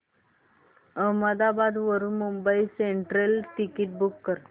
अहमदाबाद वरून Mumbai Central ticket book कर